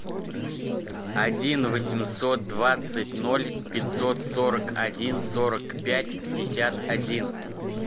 один восемьсот двадцать ноль пятьсот сорок один сорок пять пятьдесят один